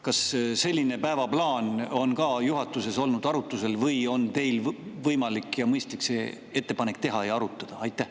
Kas selline päevaplaan on ka juhatuses arutusel olnud või on teil võimalik ja mõistlik see ettepanek teha ja seda arutada?